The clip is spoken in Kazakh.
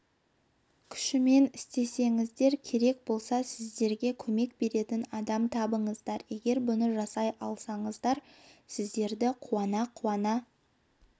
күшімен істеңіздер керек болса сіздерге көмек беретін адам табыңыздар егер бұны жасай алсаңыздар сіздерді қуана-қуана